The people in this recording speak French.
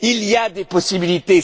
Il y a des possibilités.